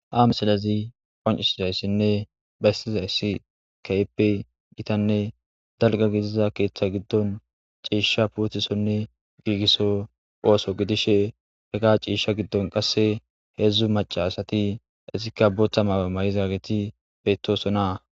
Ha misalezi qoncisizayssinne baystiza issi kayeppe gitanne dalga gidiza keeththa giddon ciishsha puutisonne giigisso ooso gidishe heka ciisha giddon qasse heedzdzu maca asati essika boota maawe may7izageti beettosonaa